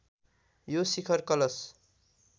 यो शिखर कलश